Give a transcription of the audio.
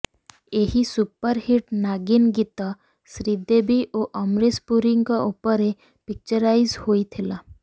ଏହି ସୁପରହିଟ୍ ନାଗିନ୍ ଗୀତ ଶ୍ରୀଦେବୀ ଓ ଅମ୍ରିଶ ପୁରୀଙ୍କ ଉପରେ ପିକଚରାଇଜ୍ ହୋଇଥିଲା